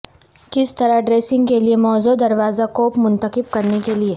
کس طرح ڈریسنگ کے لئے موزوں دروازہ کوپ منتخب کرنے کے لئے